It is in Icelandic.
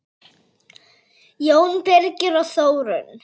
Jón Birgir og Þórunn.